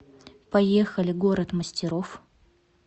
поехали город мастеров